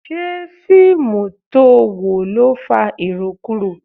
Ṣé fíìmù to wò ló fa irokuro?